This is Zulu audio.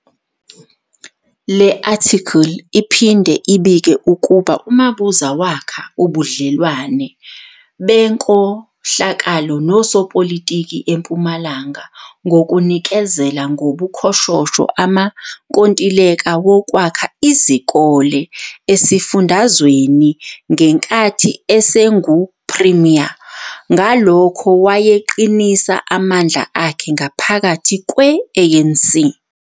Le athikili iphinde ibike ukuba uMabuza wakha ubudlelwano benkohlakalo nosopilitiki eMpumalanga ngokunikezela, ngobukhoshosho, amankontileka wokwakha izikole esifundazweni ngenkathi esengu premier, ngalokho wayeqinisa amandla akhe ngaphakathi kwe ANC.